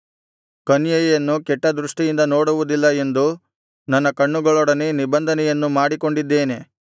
ಕನ್ಯೆಯನ್ನು ಕೆಟ್ಟದೃಷ್ಟಿಯಿಂದ ನೋಡುವುದಿಲ್ಲ ಎಂದು ನನ್ನ ಕಣ್ಣುಗಳೊಡನೆ ನಿಬಂಧನೆಯನ್ನು ಮಾಡಿಕೊಂಡಿದ್ದೇನೆ